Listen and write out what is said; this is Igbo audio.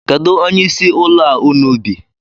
Kedu onyeisi ụlọ a unu bi?